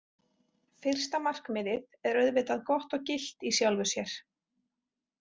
Fyrsta markmiðið er auðvitað gott og gilt í sjálfu sér.